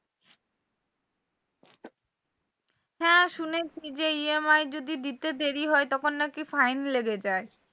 হ্যাঁ শুনেছি যে EMI যদি দিতে দেরি হয় তখন নাকি fine লেগে যায়।